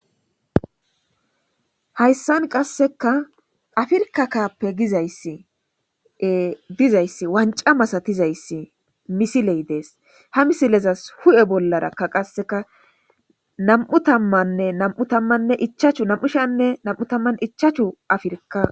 hayssan qasseka afirka kappe gizayssi dizayssi wanca masatizayssi misiley dees ha misilezas hu7e bollarakka qasseka nam7u tammanne nam7u tammanne ichachu nam7ushanne nam7u tammann ichachu afirka